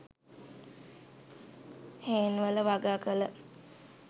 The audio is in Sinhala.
හේන්වල වගාකල